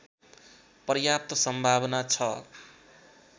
पर्याप्त सम्भावना छ